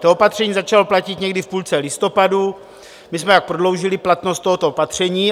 To opatření začalo platit někdy v půlce listopadu, my jsme pak prodloužili platnost tohoto opatření.